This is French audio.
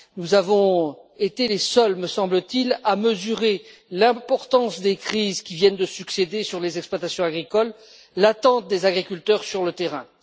Nous avons été les seuls me semble t il à mesurer l'importance des crises qui viennent de se succéder sur les exploitations agricoles, l'attente des agriculteurs sur le terrain.